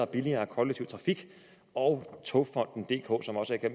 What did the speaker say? billigere kollektive trafik og togfonden dk som også er